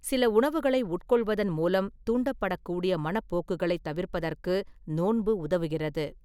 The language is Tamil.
சில உணவுகளை உட்கொள்வதன் மூலம் தூண்டப்படக்கூடிய மனப்போக்குகளை தவிர்ப்பதற்கு நோன்பு உதவுகிறது.